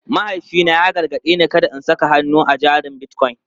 Mahaifina ya gargaɗe ni kada in saka hannun jari a Bitcoin.